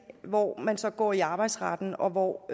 hvor man så går i arbejdsretten og hvor